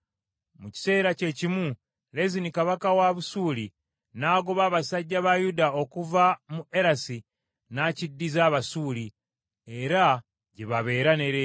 Mu kiseera kye kimu, Lezini kabaka wa Busuuli n’agoba abasajja ba Yuda okuva mu Erasi n’akiddiza Abasuuli, era gye babeera ne leero.